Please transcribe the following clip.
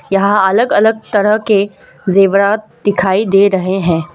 यहां अलग अलग तरह के जेवरात दिखाई दे रहे हैं।